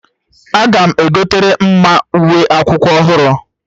Aga m egotere Mma uwe akwụkwọ ọhụrụ